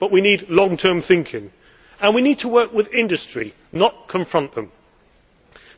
We need long term thinking, and we need to work with industry, not against it.